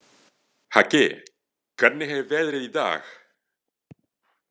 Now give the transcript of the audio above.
Haki, hvernig er veðrið í dag?